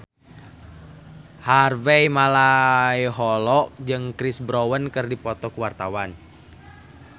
Harvey Malaiholo jeung Chris Brown keur dipoto ku wartawan